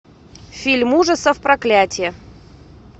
фильм ужасов проклятье